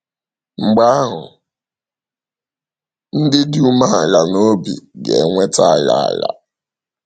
Mgbe ahụ, “ ndị dị umeala n’obi ga - enweta ala. ala. ”